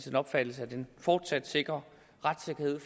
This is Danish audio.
opfattelse at den fortsat sikrer retssikkerheden